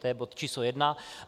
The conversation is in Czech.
To je bod číslo jedna.